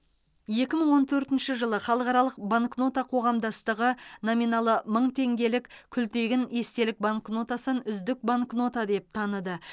екі мың он төртінші жылы халықаралық банкнота қоғамдастығы номиналы мың теңгелік күлтегін естелік банкнотасын үздік банкнота деп таныды